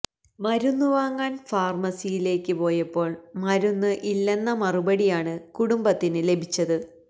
മരുന്ന് വാങ്ങാൻ ഫാർമസിയിലേക്ക് പോയപ്പോൾ മരുന്ന് ഇല്ലെന്ന മറുപടിയാണ് കുടുംബത്തിന് ലഭിച്ചത്